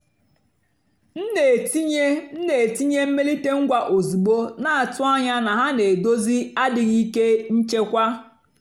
m nà-ètìnyé m nà-ètìnyé mmèlíté ngwá ózùgbó nà-àtụ́ ányá nà hà nà-èdózì àdìghị́ íké nchèkwà.